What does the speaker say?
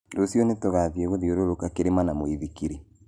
Rũciũ nĩtũgathiĩ gũthiũrũrũka kĩrĩma na mũithikiri?